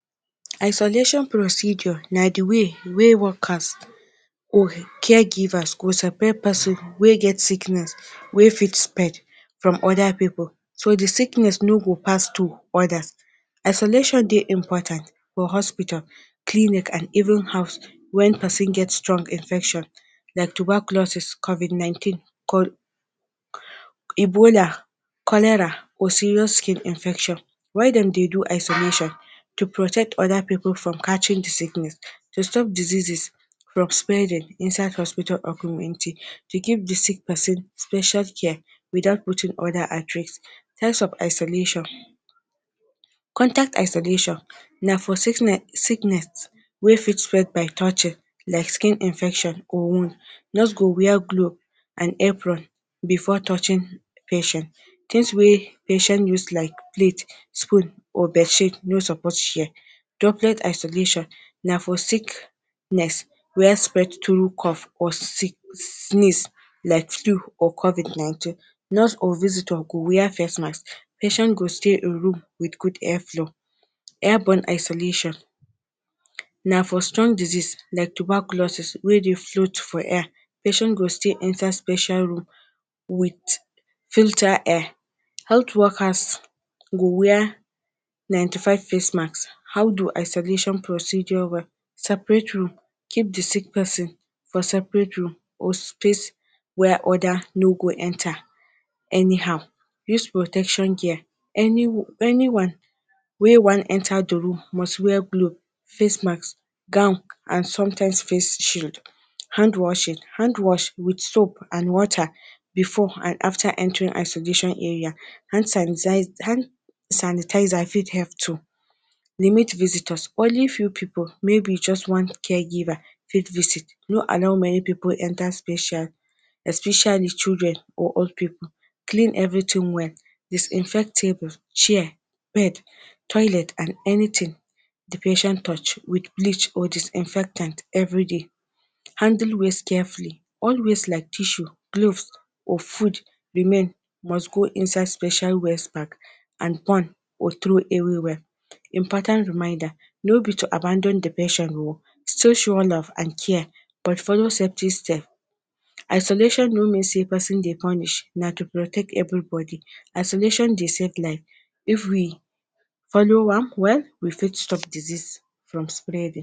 Isolation procedure na di way wey workers or caregivers go separate pesin wey get sickness wey fit sped from other pipul so dey sickness no go pass to others. Isolation dey important for hospital, clinic and even house when pesin get strong infection like tuberculosis, covid-19, ebola, cholera or serious skin infection. Why dem dey do isolation- to protect other pipul from catching dey sickness, to stop diseases from spreading inside hospital or room empty. To give dey sick person special care without putting other at risk. Types of isolation; contact isolation- na for sickness wey fit spread by touching like skin infection or wound. Nurse go wear glove and apron before touching patient, things wey patient use like spoon, plate or bedsheet no suppose share. Droplet isolation- na for sickness wey spread through cough or sneeze like flu or covid-19. Nurse or visitor go wear facemask, patient go stay a room with good airflow. Air-borne isolation- na for strong disease like tuberculosis wey dey float for air, patient go stay inside special room with filter air, health workers go wear ninety five face mask. How do isolation procedure well; separate room, keep di sick person for separate room or space where others no go enter anyhow. Use protection gear; anyone wey wan enter dey room must wear glove, face mask, gown and sometimes face shield. Handwashing- handwash with soap and water before and after entering isolation area, hand sanitizer fit help too. Limit vistors- only few pipul maybe just one caregiver fit visit, no allow many pipul enter special especially children and old people. Clean everything well - disinfect table, chair, bed and anything dey patient touch with bleach or disinfectant everyday. Handle waste carefully- all waste like tissue, glove or food remain must go inside special waste bag and burn or throw everywhere. Important reminder- no be to abandon dey patient oo, still show love and care but follow certain steps. Isolation no mean sey person dey punish na to protect everybody. Isolation dey save life if we follow one well, we fit stop disease from spreading.